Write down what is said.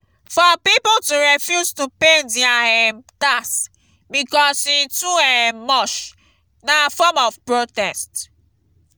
for pipo to refuse to pay their um tax because e too um much na form of protest